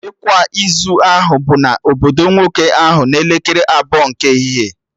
Ịkwa izu ahụ bụ na obodo nwoke ahụ n'elekere abụọ nke ehihie